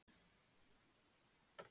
Hvort liðið á erfiðari lokasprett?